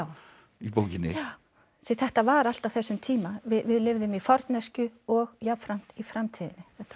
í bókinni já því þetta var allt á þessum tíma við lifðum í forneskju og jafnframt í framtíðinni